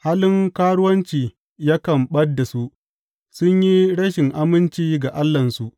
Halin karuwanci yakan ɓad da su; sun yi rashin aminci ga Allahnsu.